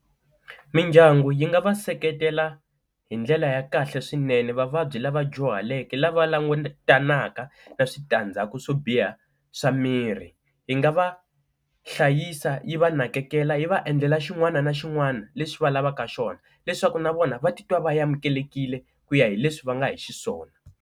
Mindyangu yi nga va seketela hi ndlela ya kahle swinene vavabyi lava dyuhaleke lava langutanaka na switandzhaku swo biha swa miri, yi nga va hlayisa yi va nakekela yi va endlela xin'wana na xin'wana lexi va lavaka xona leswaku na vona va titwa va amukelekile ku ya hi leswi va nga hi xiswona.